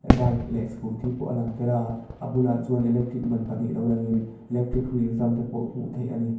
bike leh scooty pawh a lang tel a a bulah chuan electric ban pahnih lo lang in electric hrui in zam te pawh hmuh theih ani.